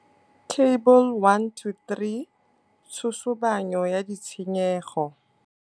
Table 1 to 3. Tshosobanyo ya ditshenyego.